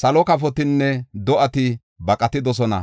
salo kafotinne do7ati baqatidosona.